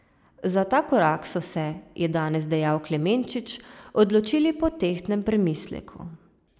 Za ta korak so se, je danes dejal Klemenčič, odločili po tehtnem premisleku.